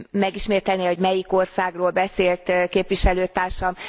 Megismételné, hogy melyik országról beszélt képviselőtársam?